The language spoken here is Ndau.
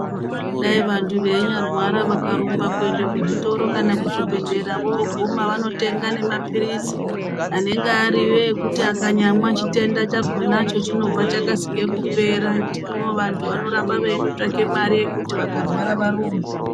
Dai vandu veinya rwara vakarumba kuende kuzvitoro kana kuzvi bhehlera voguma vano tenga nema pirizi anenge ariwo ekuti akanyamwa chitenda chakonacho chinobva chakasike kupera hino vandu vanorame veitsvaka mari yekuti vakarwara varumbe.